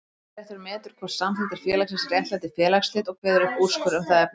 Skiptaréttur metur hvort samþykktir félagsins réttlæti félagsslit og kveður upp úrskurð um það efni.